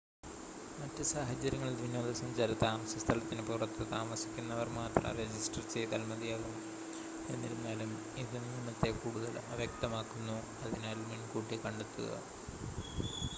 മറ്റ് സാഹചര്യങ്ങളിൽ വിനോദസഞ്ചാര താമസസ്ഥലത്തിന് പുറത്ത് താമസിക്കുന്നവർ മാത്രം രജിസ്റ്റർ ചെയ്‌താൽ മതിയാകും എന്നിരുന്നാലും ഇത് നിയമത്തെ കൂടുതൽ അവ്യക്തമാക്കുന്നു അതിനാൽ മുൻകൂട്ടി കണ്ടെത്തുക